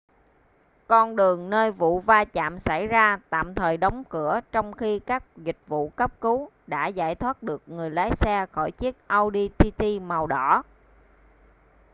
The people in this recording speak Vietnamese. con đường nơi vụ va chạm xảy ra tạm thời đóng cửa trong khi các dịch vụ cấp cứu đã giải thoát được người lái xe khỏi chiếc audi tt màu đỏ